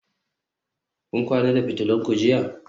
Kun kwana da fitulun ku jiya?